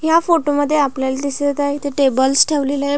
ह्या फोटोमध्ये आपल्याला दिसत आहे इथे टेबल्स ठेवलेले आहे.